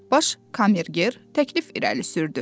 Baş kamerger təklif irəli sürdü.